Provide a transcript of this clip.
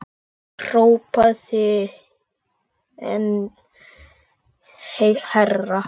Ég hrópaði enn hærra.